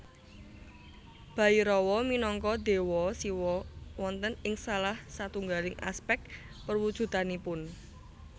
Bhairawa minangka déwa Siwa wonten ing salah satunggaling aspèk perwujudanipun